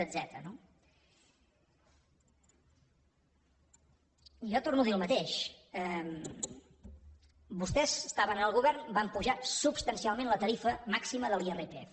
jo torno a dir el mateix vostès estaven en el govern van apujar substancialment la tarifa màxima de l’irpf